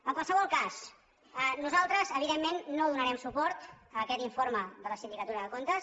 en qualsevol cas nosaltres evidentment no donarem suport a aquest informe de la sindicatura de comptes